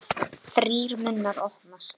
Þrír munnar opnast.